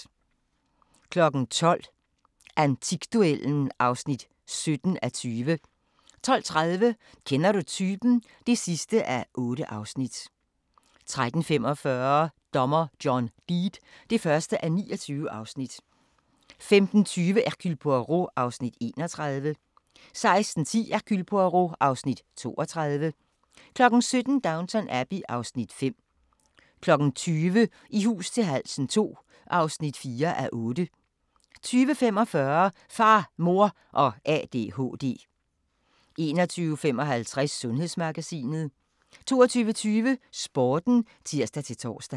12:00: Antikduellen (17:20) 12:30: Kender Du Typen? (8:8) 13:45: Dommer John Deed (1:29) 15:20: Hercule Poirot (Afs. 31) 16:10: Hercule Poirot (Afs. 32) 17:00: Downton Abbey (Afs. 5) 20:00: I hus til halsen II (4:8) 20:45: Far, Mor og ADHD 21:55: Sundhedsmagasinet 22:20: Sporten (tir-tor)